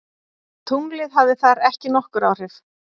Tunglið hafði þar ekki nokkur áhrif.